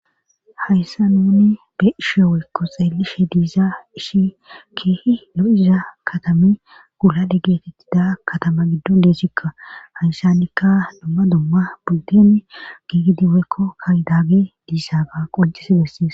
hayssa nuni be ishe weykko xeelishe diizaa ishi keehi lo7iza katami gulale geetettida katama giddon deeshikka haysannikka dumma dumma budden giigidiweekko kaydaage diisaaga qoncisi bessis